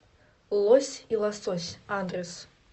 лось и лосось адрес